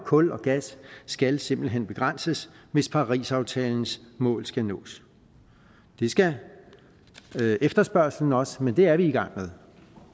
kul og gas skal simpelt hen begrænses hvis parisaftalens mål skal nås det skal efterspørgslen også men det er vi i gang med